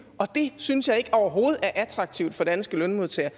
og det synes jeg overhovedet ikke er attraktivt for danske lønmodtagere